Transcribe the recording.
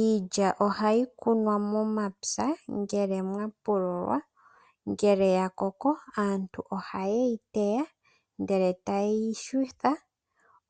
Iilya ohayi kunwa momapya ngele mwapululwa, ngele ya koko aantu ohaye yi teya, ndele taye yi yungula